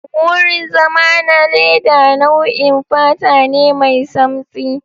wurin zama na leda nau'in fata ne mai samtsi.